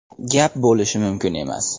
Gap bo‘lishi mumkin emas.